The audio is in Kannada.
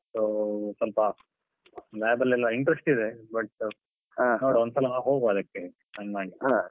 So ಸ್ವಲ್ಪ lab ಅಲ್ಲಿ ಎಲ್ಲ interest ಇದೆ but ನೋಡುವ ಒಂದ್ಸಲ ಹೋಗುವ ಅದಕ್ಕೆ .